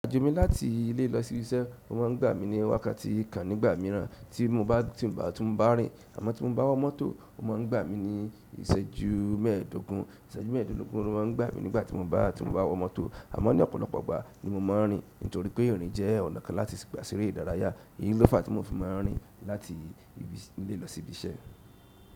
Àjò mi láti ilé lọsi ibí iṣẹ́, ó má ń gba mi ní wákàtí kan nígbà mìíràn tí mo bá rìn, a mo ti mó bá wọ mọ́tò, ó man gba mi ní iṣẹju mẹ́ẹ̀dógún. Iṣẹju mẹ́ẹ̀dógún ló má ń gba mi nígbàtí mo bá ti mo bá wọ mọ́tò, àmọ́ ní ọ̀pọ̀lọpọ̀ ìgbà ni mo máa ń rìn, nítorí pé ìrìn jẹ ọ̀nà kan láti gba seerẹ ìdára yá, èyí ló fa tí mo fi má ń rìn láti ìle lọsi ibi iṣẹ́.